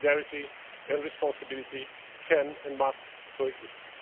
Solidarity and responsibility can and must co exist.